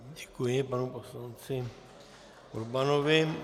Děkuji panu poslanci Urbanovi.